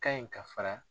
Ka ɲi ka fara